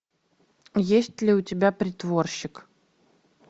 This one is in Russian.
есть ли у тебя притворщик